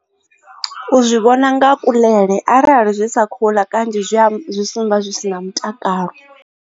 U zwi vhona nga kuḽele arali zwi sa khouḽa kanzhi zwi a zwi sumba zwi si na mutakalo.